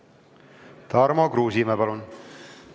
Tarmo Kruusimäe, palun!